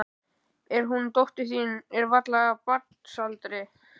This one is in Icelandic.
En hún dóttir þín er varla af barnsaldri.